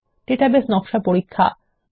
database নকশা পরীক্ষা